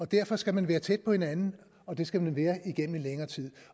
derfor skal man være tæt på hinanden og det skal man være igennem længere tid